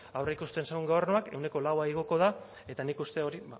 aurreikusten zuen gobernuak ehuneko laua igoko da eta nik uste hori